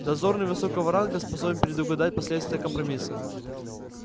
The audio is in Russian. дозорный высокого ранга способен предугадать последствия компромисса